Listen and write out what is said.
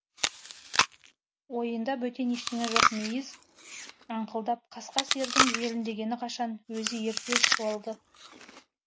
ойында бөтен ештеңе жоқ мейіз аңқылдап қасқа сиырдың желіндегені қашан өзі ерте суалды